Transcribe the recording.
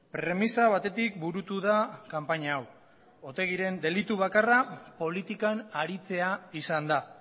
premisa batetik burutu da kanpaina hau otegiren delitu bakarra politikan aritzea izan da